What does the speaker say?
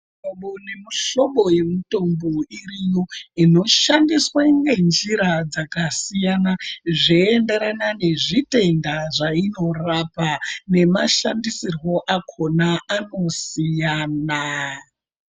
Muhlobo nemuhlobo yemutombo iriyo, inoshandiswe ngenjira dzakasiyana, zveienderana nezvitenda zvainorapa, nemashandisirwo akhona anosiyana.